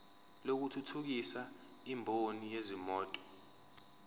lokuthuthukisa imboni yezimoto